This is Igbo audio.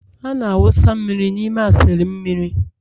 a na-awụsa mmiri n'ime A sịlịn mmiri..